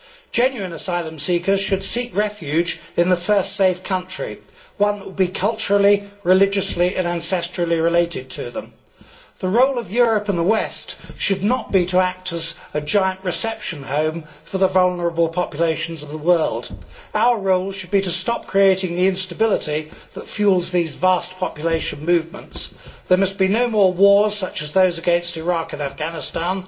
Genuine asylum seekers should seek refuge in the first safe country one that will be culturally, religiously and ancestrally related to them. The role of Europe and the West should not be to act as a giant reception home for the vulnerable populations of the world. Our role should be to stop creating the instability that fuels these vast population movements there must be no more wars such as those against Iraq and Afghanistan